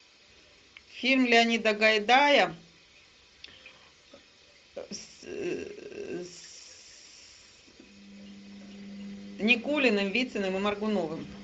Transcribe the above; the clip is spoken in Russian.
фильм леонида гайдая с никулиным вициным и моргуновым